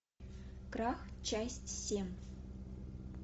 крах часть семь